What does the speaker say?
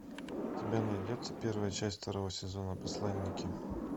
у тебя найдется первая часть второго сезона посланники